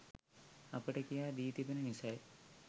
අපට කියා දී තිබෙන නිසයි